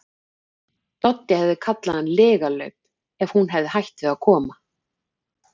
Doddi hefði kallað hann lygalaup ef hún hefði hætt við að koma.